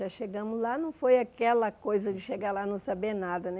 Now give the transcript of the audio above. Já chegamos lá, não foi aquela coisa de chegar lá e não saber nada né.